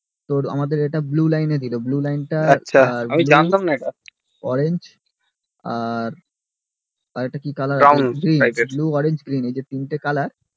তোর আমাদের ওটা blue লাইন এ ছিল blue লাইন টা আমি জানতমনা এটা orange আর একটা কি color আছে brown blue orange green এই তিন টি colour